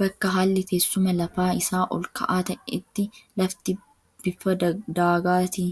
Bakka haalli teessuma lafaa isaa ol ka'aa ta'etti lafti bifa daagaatiin